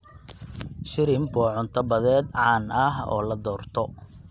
Shrimp waa cunto badeed caan ah oo la doorto.